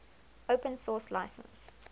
open source license